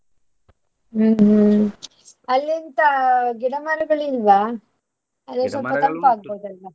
ಹ್ಮ್ ಹ್ಮ್ ಅಲ್ಲಿ ಎಂತಾ ಗಿಡ ಮರಗಳಿಲ್ವಾ? .